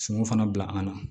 Sungun fana bila an na